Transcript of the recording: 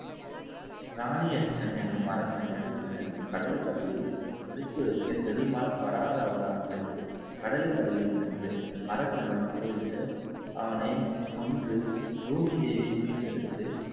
ராணியச்சன் என்ன அரக்கன் எடுத்துச்சென்று கடலுக்கு அடியில் ஒளித்து வைக்க பெருமாள் வராக அவதாரம் எடுத்து கடலுக்கு அடியில் சென்று அரக்கனுடன் போரிட்டு அவனை கொன்று பூமி தேவியை மீட்டெடுத்து